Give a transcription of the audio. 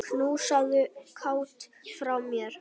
Knúsaðu Kát frá mér.